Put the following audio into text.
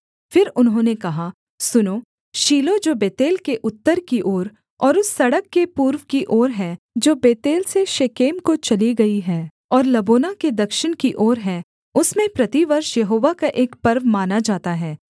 फिर उन्होंने कहा सुनो शीलो जो बेतेल के उत्तर की ओर और उस सड़क के पूर्व की ओर है जो बेतेल से शेकेम को चली गई है और लबोना के दक्षिण की ओर है उसमें प्रतिवर्ष यहोवा का एक पर्व माना जाता है